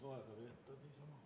Kolm minutit lisaaega.